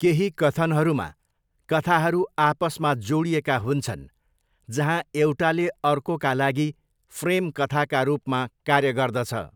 केही कथनहरूमा, कथाहरू आपसमा जोडिएका हुन्छन्, जहाँ एउटाले अर्कोका लागि फ्रेम कथाका रूपमा कार्य गर्दछ।